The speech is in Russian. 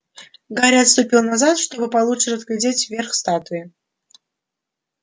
гарри отступил назад чтобы получше разглядеть верх статуи